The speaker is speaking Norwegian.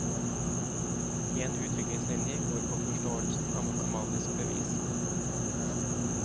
En utviklingslinje går på forståelsen av matematisk bevis.